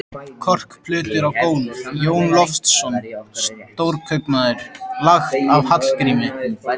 Korkplötur á gólf: Jón Loftsson, stórkaupmaður, lagt af Hallgrími